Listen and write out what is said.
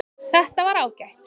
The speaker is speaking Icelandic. Þetta var ágætt